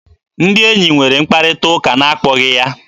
Ndị enyi nwere mkparịta ụka n'akpọghị ya.